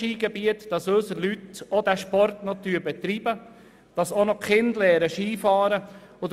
Sie tragen dazu bei, dass unsere Leute diesen Sport auch betreiben und unsere Kinder Skifahren lernen.